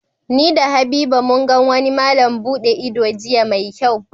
Ni da Habiba mun gan wani malam buɗe ido jiya mai kyau